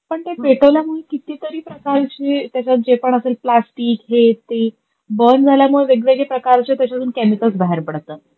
पण ते पेटवल्यामुळे किती तरी प्रकारचे त्याच्यात जे पण असेल प्लास्टिक हे ते बर्न झाल्यामुळे वेगवेगळे प्रकारचे त्याच्यातून केमिकल्स त्याच्यातून बाहेर पडतात.